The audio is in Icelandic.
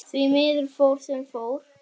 Nefndin kallaði strax eftir gögnum.